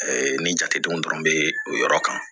ni jatedenw dɔrɔn bɛ o yɔrɔ kan